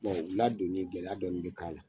u ladonni gɛlɛya dɔɔni bɛ k'a la.